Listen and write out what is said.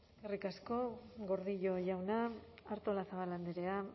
eskerrik asko gordillo jauna artolazabal andrea